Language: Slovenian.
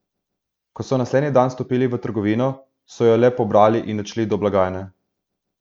Ko so naslednji dan vstopili v trgovino, so jo le pobrali in odšli do blagajne.